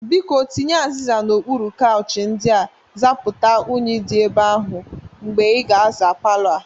Biko, tinye azịza n'okpuru kauchi ndị a zapụta unyi dị ebe ahụ mgbe ị ga na-aza palọ a.